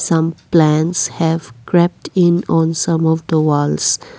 Some plants have crept in on some of the walls.